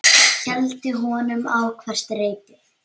Hældi honum á hvert reipi.